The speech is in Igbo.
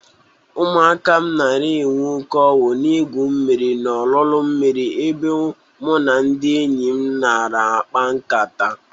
Ụmụaka m nara enwe oke ọñụ na-egwu mmiri n'olulu mmiri ebe mụ na ndị enyi m nara akpa nkata.